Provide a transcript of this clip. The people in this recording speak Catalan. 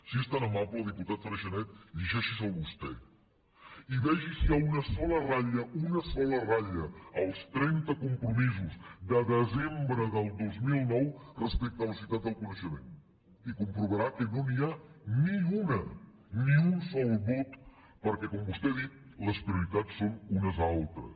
si és tan amable diputat freixanet llegeixi se’l vostè i vegi si hi ha una sola ratlla una sola ratlla als trenta compromisos de desembre del dos mil nou respecte a la societat del coneixement i comprovarà que no n’hi ha ni una ni un sol mot perquè com vostè ha dit les prioritats són unes altres